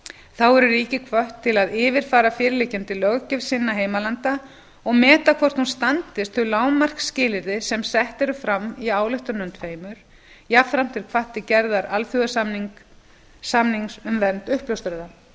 þá eru ríki hvött til að yfirfara fyrirliggjandi löggjöf sinna heimalanda og meta hvort hún standist þau lágmarksskilyrði sem sett eru fram í ályktununum tveimur jafnframt er hvatt til gerðar alþjóðasamnings um vernd uppljóstrara